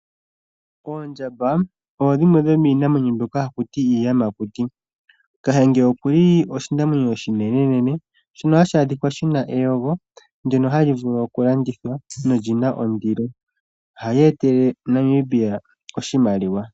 Oondjamba odho dhimwe dhomiinamwenyo mbyoka hakuti iiyamakuti. Kahenge okuli oshinamwenyo oshinene nene. Shono hashi adhikwa shina eyego ndyono hali vulu oku landithwa nolyina ondilo. Ohali etele Namibia oshimaliwa.